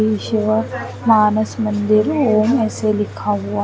इसी वो मानस मंदिर ओम ऐसे लिखा हुआ--